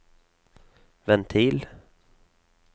ventil